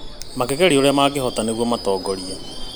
Makĩgeria ũrĩa mangĩhota nĩguo matongorie